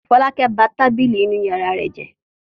Fọlákẹ́ ba tábìlì inú ìyàrá rẹ̀ jẹ́.